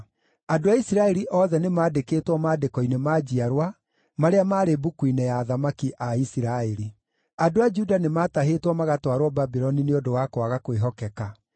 Andũ a Isiraeli othe nĩmandĩkĩtwo maandĩko-inĩ ma njiarwa marĩa maarĩ mbuku-inĩ ya athamaki a Isiraeli. Andũ arĩa maarĩ Jerusalemu Andũ a Juda nĩmatahĩtwo magatwarwo Babuloni nĩ ũndũ wa kwaga kwĩhokeka.